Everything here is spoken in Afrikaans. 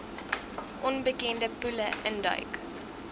onbekende poele induik